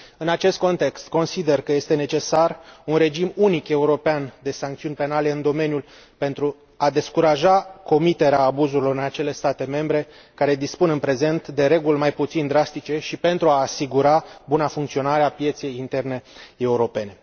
În acest context, consider că este necesar un regim unic european de sancțiuni penale în domeniu pentru a descuraja comiterea abuzurilor în acele state membre care dispun în prezent de reguli mai puțin drastice și pentru a asigura buna funcționare a pieței interne europene.